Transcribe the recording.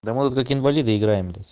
да мы вот как инвалиды играем тут